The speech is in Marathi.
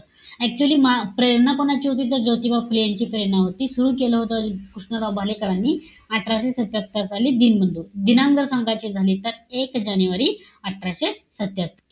Actually म प्रेरणा कोणाची होती? तर, ज्योतिबा फुले यांची प्रेरणा होती. ती सुरु केलं होतं, कृष्णराव भालेकरानी. अठराशे सत्त्यात्तर साली, दीनबंधू. दिनांक सांगायची झाली तर एक जानेवारी अठराशे सत्त्यात्तर.